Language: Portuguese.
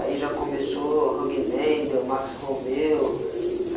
Aí já começou o Huggie Man, deu o Max Romeo.